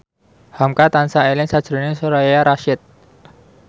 hamka tansah eling sakjroning Soraya Rasyid